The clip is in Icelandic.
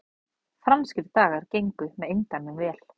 Franskir dagar gengu með eindæmum vel